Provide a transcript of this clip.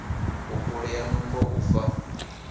u kulea nungo u fa